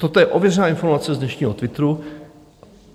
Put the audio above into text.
Toto je ověřená informace z dnešního Twitteru.